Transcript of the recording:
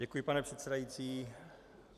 Děkuji, pane předsedající.